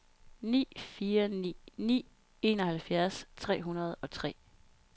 ni fire ni ni enoghalvfjerds tre hundrede og tre